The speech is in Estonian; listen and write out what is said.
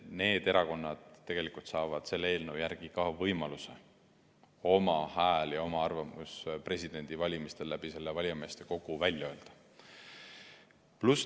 Need erakonnad tegelikult saavad selle eelnõu järgi ka võimaluse oma hääle anda ja oma arvamuse presidendivalimistel selle valijameeste kogu kaudu välja öelda.